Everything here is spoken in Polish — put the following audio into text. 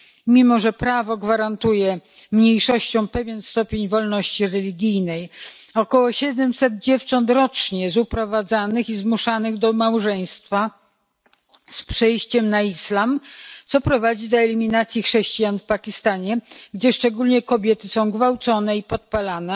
Mimo że prawo gwarantuje mniejszościom pewien stopień wolności religijnej, około 700 dziewcząt rocznie zostaje uprowadzonych i zmuszonych do małżeństwa oraz do przejścia na islam, co prowadzi do eliminacji chrześcijan w Pakistanie, gdzie szczególnie kobiety są gwałcone i podpalane.